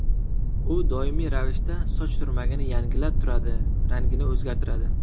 U doimiy ravishda soch turmagini yangilab turadi, rangini o‘zgartiradi.